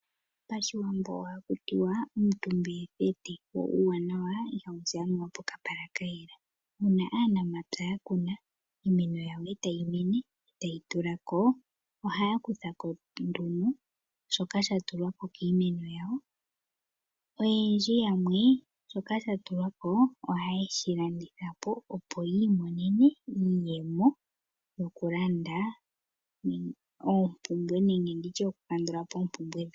Pashiwambo ohaku tiwa omutumba etheta, wo uuwanawa ihawu zi anuwa pokapala ka yela. Muna aanamapya ya kuna iimeno yawo, etayi mene, e tayi tulako. Ohaya kutha ko nduno shoka sha tulwako kiimeno yawo. Oyendji yamwe shoka sha tulwa ko ohaye shi landitha po, opo yiimonene iiyemo yokulanda oompumbwe nenge okukandula po oompumbwe dhawo.